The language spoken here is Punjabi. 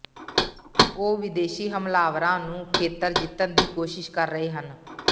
ਉਹ ਵਿਦੇਸ਼ੀ ਹਮਲਾਵਰਾਂ ਨੂੰ ਖੇਤਰ ਜਿੱਤਣ ਦੀ ਕੋਸ਼ਿਸ਼ ਕਰ ਰਹੇ ਹਨ